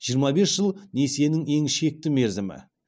жиырма бес жыл несиенің ең шекті мерзімі